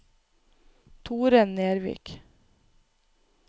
Tore Nervik